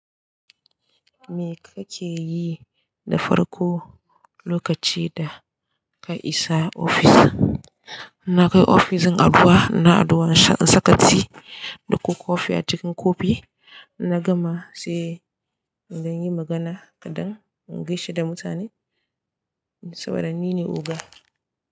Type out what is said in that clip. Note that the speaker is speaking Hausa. Me kake yi da farko lokaci da ka isa ofis? Na kai ofis din addu'a, ina addu'a in sha in saka tea ko kofi a cikin kofi. Na gama sai zan yi magana kaɗan, in gaishe da mutane saboda ni ne oga.